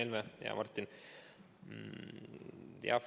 Hea Martin!